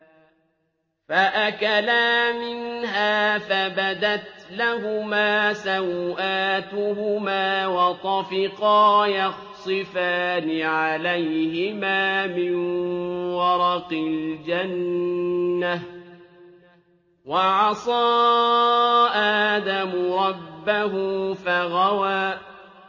فَأَكَلَا مِنْهَا فَبَدَتْ لَهُمَا سَوْآتُهُمَا وَطَفِقَا يَخْصِفَانِ عَلَيْهِمَا مِن وَرَقِ الْجَنَّةِ ۚ وَعَصَىٰ آدَمُ رَبَّهُ فَغَوَىٰ